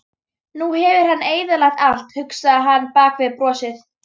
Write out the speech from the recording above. Nú hefur hann eyðilagt allt, hugsaði hann bak við brosið.